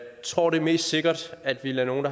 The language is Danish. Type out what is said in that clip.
tror det er mest sikkert at vi lader nogle